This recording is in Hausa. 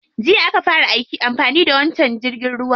Jiya aka fara amfani da wancan jirgin ruwa.